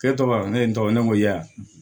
E tɔgɔ ne ye n tɔgɔ ne ko ya